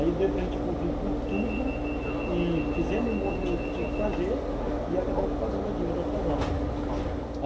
Aí deu para gente cumprir com tudo e fizemos o movimento que tinha que fazer e acabamos pagando a dívida atrasada também, uhum.